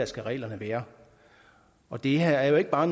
skal reglerne være og det her er jo ikke bare